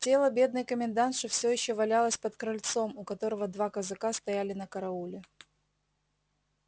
тело бедной комендантши все ещё валялось под крыльцом у которого два казака стояли на карауле